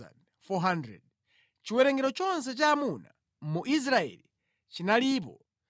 Chiwerengero chonse cha amuna mu Israeli chinalipo 601,730.